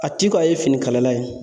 A ti ko a ye fini kalala ye